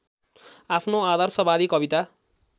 आफ्नो आदर्शवादी कविता